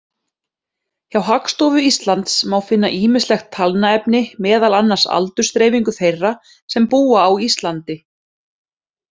Hjá Hagstofu Íslands má finna ýmislegt talnaefni, meðal annars aldursdreifingu þeirra sem búa á Íslandi.